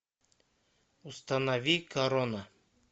установи корона